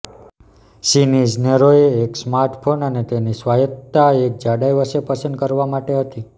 ચિની ઇજનેરોએ એક સ્માર્ટફોન અને તેની સ્વાયત્તતા એક જાડાઈ વચ્ચે પસંદ કરવા માટે હતી